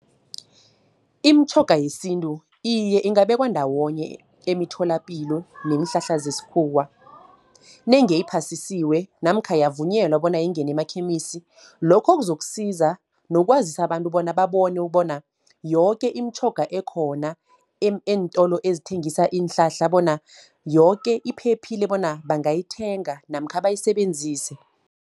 Imitjhoga yesintu, iye ingabekwa ndawonye emitholapilo neenhlahla zeskhuwa, nange iphasisiwe namkha, yavunyelwa bona ingene emakhemisi. Lokho kuzokusiza nokwazisa abantu bona babone bona, yoke imitjhoga ekhona eentolo ezithengisa iinhlahla, bona yoke iphephile, bona bangayithenga namkha bayisebenzise.